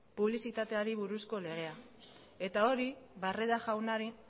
publizitateari buruzko legea eta hori barreda jaunari